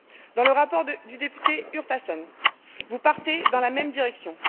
Dans le rapport du député Urtasun, vous partez dans la même direction.